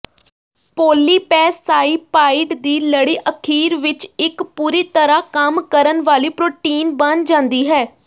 ਪੌਲੀਪੈਸਾਈਪਾਈਡ ਦੀ ਲੜੀ ਅਖੀਰ ਵਿੱਚ ਇੱਕ ਪੂਰੀ ਤਰ੍ਹਾਂ ਕੰਮ ਕਰਨ ਵਾਲੀ ਪ੍ਰੋਟੀਨ ਬਣ ਜਾਂਦੀ ਹੈ